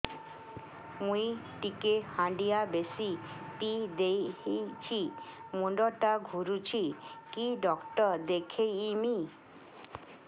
ମୁଇ ଟିକେ ହାଣ୍ଡିଆ ବେଶି ପିଇ ଦେଇଛି ମୁଣ୍ଡ ଟା ଘୁରୁଚି କି ଡାକ୍ତର ଦେଖେଇମି